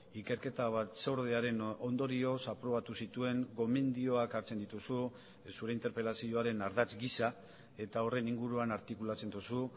ikerketa batzordearen ondorioz aprobatu zituen gomendioak hartzen dituzu zure interpelazioaren ardatz gisa eta horren inguruan artikulatzen duzu